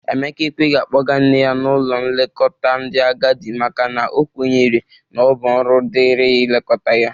Emeka ekweghi akpọga nne ya n'ụlọ nlekọta ndị agadị makana o kwenyere na ọ bụ ọrụ dịrị ya ilekọta ya